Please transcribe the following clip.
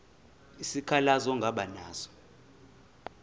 isikhalazo ongaba naso